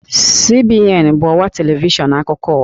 CNN bụ ọwa televishọn akụkọ ụwa